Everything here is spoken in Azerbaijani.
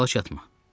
Çalış yatma.